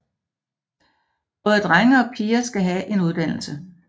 Både drenge og piger skal have en uddannelse